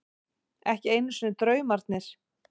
Ekki einu sinni draumarnir.